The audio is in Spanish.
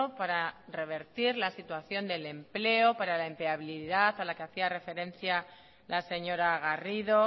para revertir la situación del empleo para la empleabilidad a la que hacía referencia la señora garrido